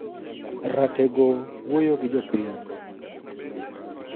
Ratego wuoyo gi jopiny